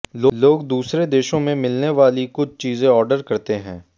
लोग दूसरे देशों में मिलने वाली कुछ चीजें ऑर्डर करते हैं